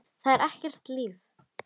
Það er ekkert líf.